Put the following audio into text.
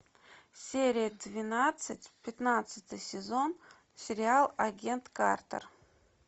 серия двенадцать пятнадцатый сезон сериал агент картер